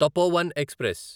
Tapovan express